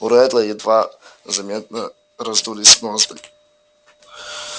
у реддла едва заметно раздулись ноздри